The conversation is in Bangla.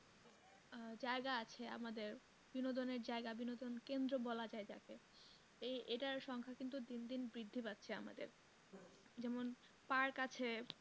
জায়গা আছে আমাদের বিনোদনের জায়গা বিনোদনের কেন্দ্র বলা যায় যাকে এই, এটার সংখ্যা কিন্তু দিন দিন বৃদ্ধি পারছে আমাদের যেমন park কাছে